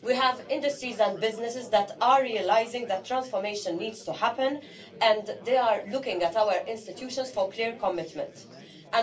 We have industries and businesses that are realising that transformation needs to happen and they are looking to our institutions for clear commitment.